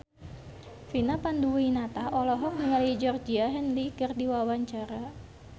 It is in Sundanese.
Vina Panduwinata olohok ningali Georgie Henley keur diwawancara